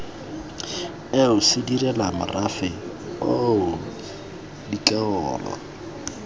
eo sedirela morafe oo dikolo